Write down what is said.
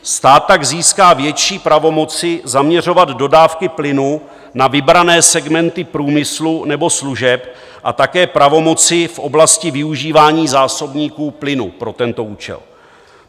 Stát tak získá větší pravomoci zaměřovat dodávky plynu na vybrané segmenty průmyslu nebo služeb a také pravomoci v oblasti využívání zásobníků plynu pro tento účel.